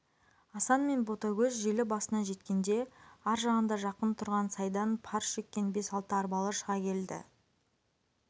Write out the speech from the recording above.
асан мен ботагөз желі басына жеткенде аржағында жақын тұрған сайдан пар жеккен бес-алты арбалы шыға келді